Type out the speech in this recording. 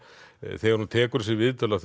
þegar hún tekur þessi viðtöl að